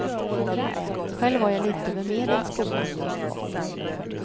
Själv var jag litet över medel i skolan.